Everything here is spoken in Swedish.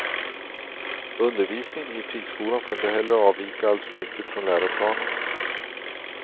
Undervisningen i friskolan får inte heller avvika alltför mycket från läroplanen.